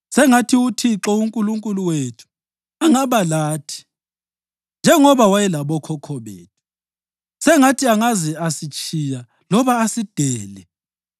Sengathi uThixo uNkulunkulu wethu angaba lathi njengoba wayelabokhokho bethu; sengathi angaze asitshiya loba asidele.